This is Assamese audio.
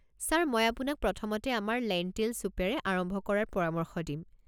ছাৰ, মই আপোনাক প্ৰথমতে আমাৰ লেণ্টিল চুপেৰে আৰম্ভ কৰাৰ পৰামৰ্শ দিম।